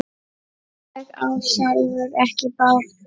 Ég á sjálfur ekki bát.